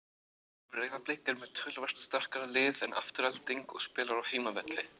Breiðablik er með töluvert sterkara lið en Afturelding og spilar á heimavelli.